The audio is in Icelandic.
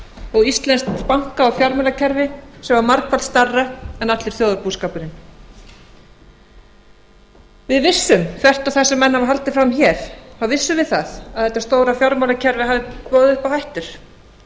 og íslenskt banka og fjármálakerfi sem var margfalt stærra en allur þjóðarbúskapurinn við vissum þvert á það sem menn hafa haldið fram hér þá vissum við það að þetta stóra fjármálakerfi hafði boðið upp á hættur